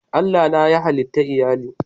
Allah na yayi hallitan Iyalli